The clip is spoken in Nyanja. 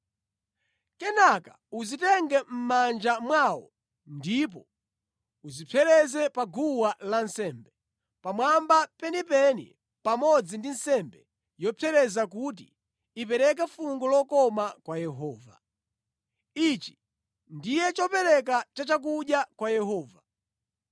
Kenaka uzitenge mʼmanja mwawo ndipo uzipsereze pa guwa lansembe, pamwamba penipeni pamodzi ndi nsembe yopsereza kuti ipereke fungo lokoma kwa Yehova. Ichi ndiye chopereka chachakudya kwa Yehova.